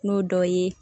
N'o dɔ ye